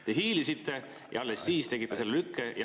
Te hiilisite ja alles siis tegite selle lükke.